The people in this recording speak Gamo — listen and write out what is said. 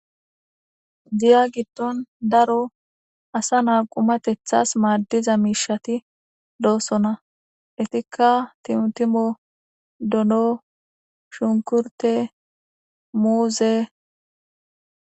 Diya giddon daro asa naa qumatethas maaddiza miishati doossona etikka timtimo dono shunkurte muuze.